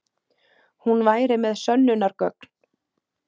Hún væri með sönnunargögn.